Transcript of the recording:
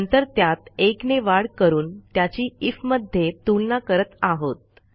नंतर त्यात 1 ने वाढ करून त्याची आयएफ मध्ये तुलना करत आहोत